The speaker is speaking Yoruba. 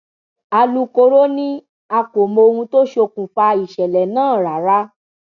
alūkkóró ni a kò mọ ohun tó ṣókùnkùn ìṣẹlẹ náà rárá